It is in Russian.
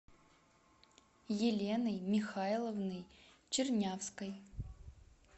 еленой михайловной чернявской